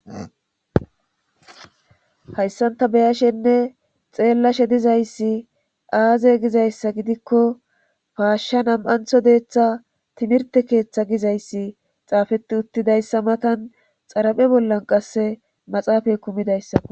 hayssan ta beyashenne xeellashe dizayssi aaze gizayssa gidikko paashsha nam'antho deeththa timirte keeththa gizayssi xaafeti uttidayssa matan xaraphe bollan qasse maxaafay kumidayssao